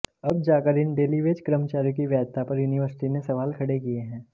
अब जाकर इन डेलीवेज कर्मचारियों की वैधता पर यूनिवर्सिटी ने सवाल खड़े किए हैं